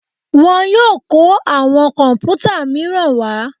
Wọ́n yóò kọ́ àwọn kọ̀m̀pútà míràn wá.